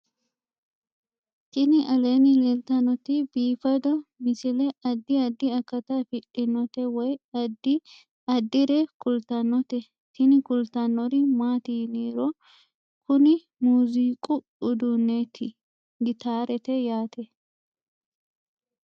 Tini aleenni leetannoti biifado misile adi addi akata afidhinote woy addi addire kultannote tini kultannori maati yiniro kuni muziiqu uduunneeti gitaarete yate